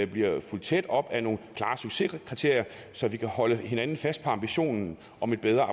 bliver fulgt tæt op af nogle klare succeskriterier så vi kan holde hinanden fast på ambitionen om et bedre